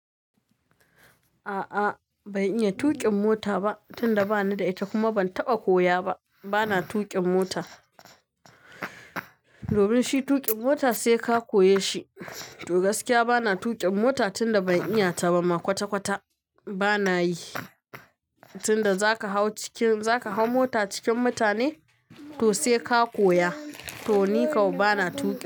A'a ban iya tuƙin mota ba tunda bani da ita kuma ban taɓa koya ba. Bana tuƙin mota. Domin shi tuƙin mota sai ka koye shi. To gaskiya bana tuƙin mota tunda ban iya ta ba ma kwata-kwata bana yi. Tunda za ka hau cikin-- za ka hau mota cikin mutane to sai ka koya. To nikau bana tuƙi.